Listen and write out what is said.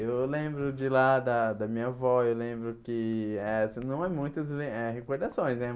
Eu lembro de lá da da minha avó, eu lembro que eh... Só Não é muitas eh recordações, né?